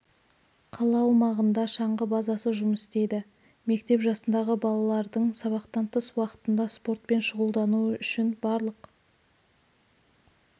қала аумағында шаңғы базасы жұмыс істейді мектеп жасындағы балалардың сабақтан тыс уақытында спортпен шұғылдануы үшін барлық